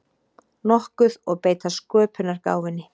nokkuð og beita sköpunargáfunni.